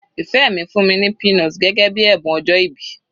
Ìfẹ́ mi fún mi ní peanut gẹ́gẹ́ bíi ẹ̀bùn ọjọ́ìbí.